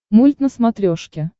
мульт на смотрешке